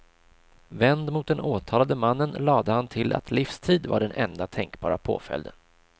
Vänd mot den åtalade mannen lade han till att livstid var den enda tänkbara påföljden.